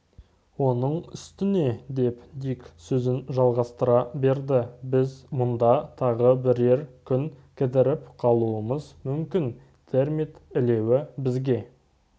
оның үстіне деп дик сөзін жалғастыра берді біз мұнда тағы бірер күн кідіріп қалуымыз мүмкін термит илеуі бізге